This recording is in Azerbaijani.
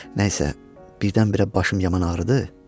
Nəysə, birdən-birə başım yaman ağrıdı.